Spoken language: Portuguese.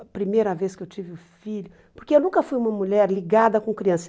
A primeira vez que eu tive o filho... Porque eu nunca fui uma mulher ligada com criança.